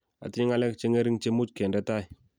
atinye ngalek che ngering'che much kende tai